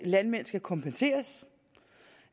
landmænd skal kompenseres